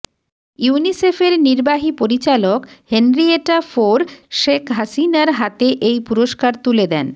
ইউনিসেফের নির্বাহী পরিচালক হেনরিয়েটা ফোর শেখ হাসিনার হাতে এই পুরস্কার তুলে দেন